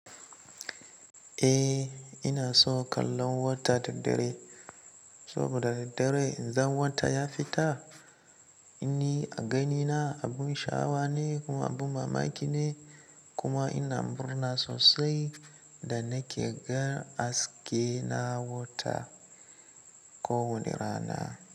Eh ina son kallon wata da dare, saboda da daren idan wata ya fita. Ni a ganina abin sha'awa ne kuma abin mamaki ne kuma ina murna sosai da nake gan aske na wata ko wane rana.